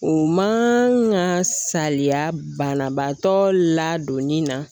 O ma saliya banabaatɔ ladonni na